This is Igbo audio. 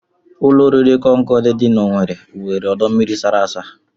Ụlọoriri Concorde dị n'Owere nwere ọdọmmiri sara asa